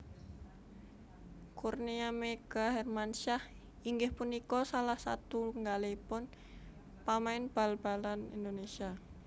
Kurnia Meiga Hermansyah inggih punika salah satunggalipun pamain bal balan Indonésia